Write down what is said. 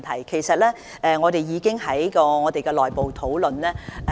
其實，我們已經為此進行內部討論。